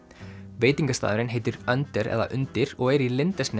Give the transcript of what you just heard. veitingastaðurinn heitir eða undir og er í